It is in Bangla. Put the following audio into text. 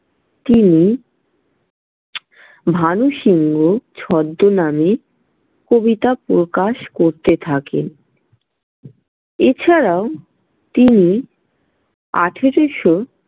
তিনি ভানুসিংহ ছদ্মনামে কবিতা প্রকাশ করতে থাকেন। এছাড়াও তিনি আঠারোশো।